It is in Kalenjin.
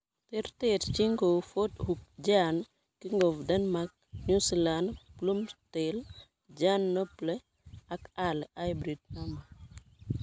Terterchin kou Ford Hook Giant, King of Denmark, New Zealand, Bloomsdale, Giant Noble ak Early Hybrid No.